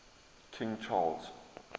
king charles